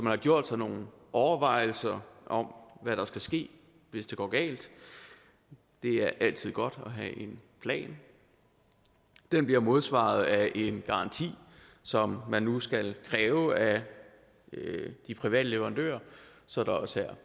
har gjort sig nogle overvejelser om hvad der skal ske hvis det går galt det er altid godt at have en plan den bliver modsvaret af en garanti som man nu skal kræve af de private leverandører så der også er